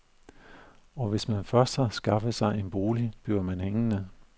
Og hvis man først har skaffet sig en bolig, bliver man hængende.